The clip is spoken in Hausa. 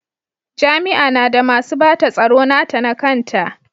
Jami'a na da masu bata tsaro nata na kanta.